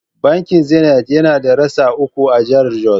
Bankin Zenith yana da rassa uku a jahar Jos.